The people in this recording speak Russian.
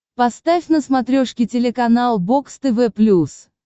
поставь на смотрешке телеканал бокс тв плюс